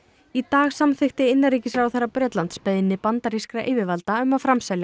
í dag samþykkti innanríkisráðherra Bretlands beiðni bandarískra yfirvalda um að framselja